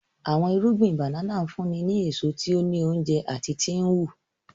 Awọn irugbin banana nfunni ni eso ti o ni ounjẹ ati ti nhu.